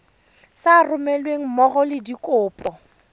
sa romelweng mmogo le dikopo